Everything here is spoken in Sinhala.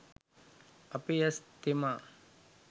අපේ ඇස් තෙමා